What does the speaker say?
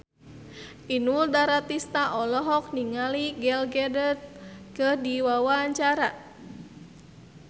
Inul Daratista olohok ningali Gal Gadot keur diwawancara